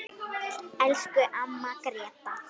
Elsku amma Gréta.